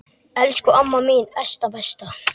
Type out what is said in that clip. Elsku amma mín Esta besta.